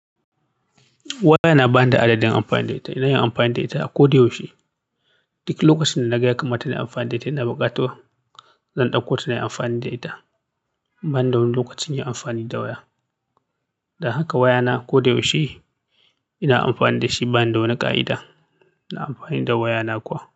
Wayana ba ni da adadin amfani da ita, zan yi amfani da ita a ko da yaushe. Duk lokacin da na ga ya kamata in yi amfani da ita, ina bukatuwa. Zan dauko ta nayi amfani da ita. Ban da wani lokacin yin amfani da waya. Dan haka wayana ko da yaushe ina amfani da shi bani da wani ƙa'ida. Ina amfani da wayana kuwa.